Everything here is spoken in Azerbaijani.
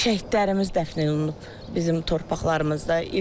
Şəhidlərimiz dəfn olunub bizim torpaqlarımızda.